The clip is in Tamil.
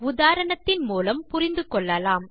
உதாரணத்தின் மூலம் புரிந்து கொள்ளலாம்